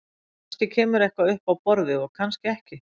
Kannski kemur eitthvað upp á borðið og kannski ekki.